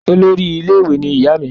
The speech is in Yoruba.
olórí ilé ìwé ní ìyá mí